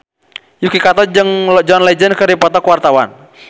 Yuki Kato jeung John Legend keur dipoto ku wartawan